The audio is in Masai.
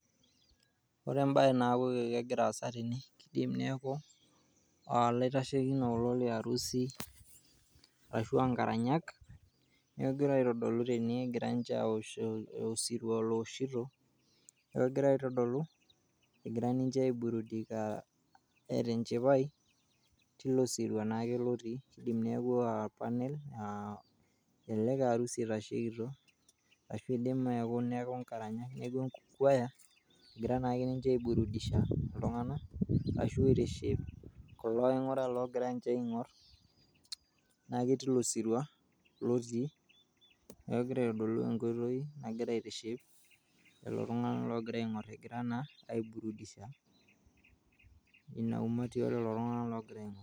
ore embaye naaku kegira aasa tene naa kidim neeku uh, ilaitashekinok kulo liarusi ashua nkaranyak negira aitodolu tene egira ninche awosh osirua lowoshito egira aitodolu egira ninche aiburudika neeta enchipai tilo sirua naake lotii idim neeku aor panell elelek aa arusi itashekitio ashu idim eeku neeku inkaranyak neeku choir egira naake ninche aiburudisha iltung'anak ashu aitiship kulo aing'urak logira ninche aing'orr naake tilo sirua lotii neeku kegira aitodolu enkoitoi nagira aitiship lelo tung'anak logira aing'orr egira naa aiburudisha ina umati olelo tung'anak logira aing'orr.